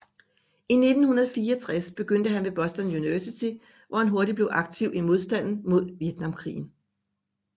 I 1964 begyndte han ved Boston University hvor han hurtigt blev aktiv i modstanden mod Vietnamkrigen